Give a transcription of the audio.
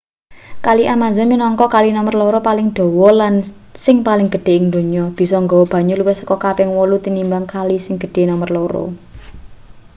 kali amazon minangka kali nomer loro paling dawa lan sing paling gedhe ing donya bisa nggawa banyu luwih saka kaping 8 tinimbang kali sing gedhe nomer loro